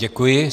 Děkuji.